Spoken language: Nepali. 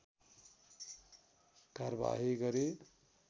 कारवाही गरी